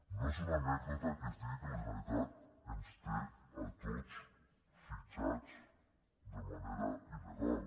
no és una anècdota que es digui que la generalitat ens té a tots fitxats de manera il·legal